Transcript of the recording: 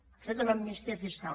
han fet una amnistia fiscal